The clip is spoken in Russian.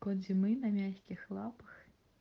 кот зимы на мягких лапах